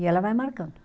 E ela vai marcando.